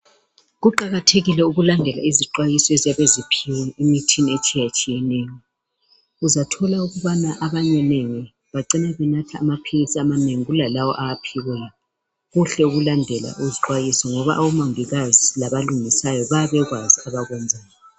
Kuqakathekile ukulandela izixwayiso eziyabe ziphiwe emithini etshiyatshiyeneyo. Uzathola ukubana abanye bacina benatha amaphilisi amanengi kulalawo owaphiweyo. Kuhle ukulandela izixwayiso ngoba omongikazi labalungisayo bayabe bekwazi abakwenzayo.